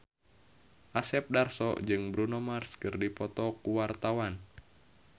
Asep Darso jeung Bruno Mars keur dipoto ku wartawan